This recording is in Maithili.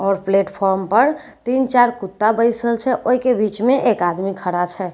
आओर प्लेटफॉर्म पर तीन चार कुत्ता बैसल छे ओई कें बीच मे एक आदमी खड़ा छे।